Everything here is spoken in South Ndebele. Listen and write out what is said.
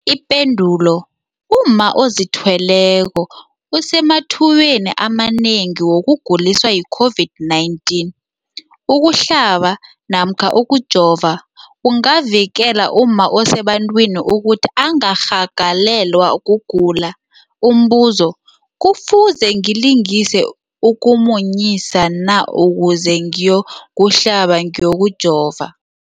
Ipendulo, umma ozithweleko usemathubeni amanengi wokuguliswa yi-COVID-19. Ukuhlaba namkha ukujova kungavikela umma osebantwini ukuthi angarhagalelwa kugula. Umbuzo, kufuze ngilise ukumunyisa na ukuze ngiyokuhlaba namkha ngiyokujova?